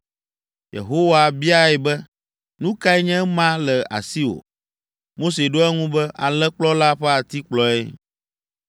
Yehowa biae be, “Nu kae nye ema le asiwò?” Mose ɖo eŋu be, “Alẽkplɔla ƒe atikplɔe.”